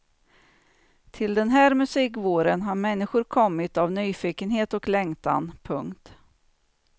Till den här musikvåren har människor kommit av nyfikenhet och längtan. punkt